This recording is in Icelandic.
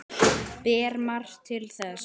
Ber margt til þess.